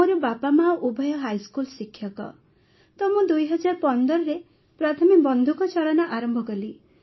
ମୋର ବାପାମାଆ ଉଭୟ ହାଇସ୍କୁଲ୍ ଶିକ୍ଷକ ତ ମୁଁ ୨୦୧୫ରେ ପ୍ରଥମେ ବନ୍ଧୁକ ଚାଳନା ଆରମ୍ଭ କଲି